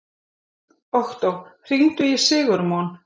Októ, hringdu í Sigurmon.